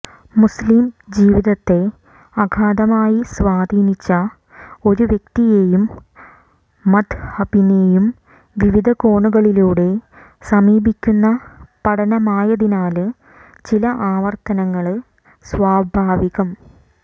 മുസ്ലിം ജീവിതത്തെ അഗാധമായി സ്വാധീനിച്ച ഒരു വ്യക്തിയെയും മദ്ഹബിനെയും വിവിധ കോണുകളിലൂടെ സമീപിക്കുന്ന പഠനമായതിനാല് ചില ആവര്ത്തനങ്ങള് സ്വാഭാവികം